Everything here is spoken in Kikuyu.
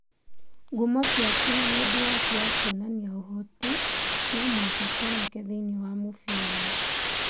Ngumo ciaku na wendi waku wa kuonania ũhoti no mũhaka cioneke thĩinĩ wa mũbira